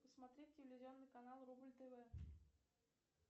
смотреть телевизионный канал рубль тв